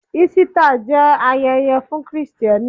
Ísítà jẹ́ ayẹyẹ fún Kristẹni.